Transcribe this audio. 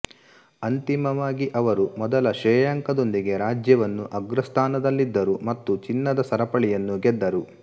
ಅಂತಿಮವಾಗಿ ಅವರು ಮೊದಲ ಶ್ರೇಯಾಂಕದೊಂದಿಗೆ ರಾಜ್ಯವನ್ನು ಅಗ್ರಸ್ಥಾನದಲ್ಲಿದ್ದರು ಮತ್ತು ಚಿನ್ನದ ಸರಪಳಿಯನ್ನೂ ಗೆದ್ದರು